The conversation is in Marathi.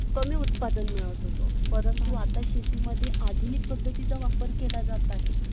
comparison करून पाहू आपण market मध्ये